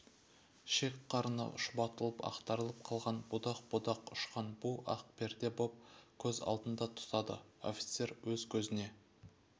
шек-қарыны шұбатылып ақтарылып қалған будақ-будақ ұшқан бу ақ перде боп көз алдыңды тұтады офицер өз көзіне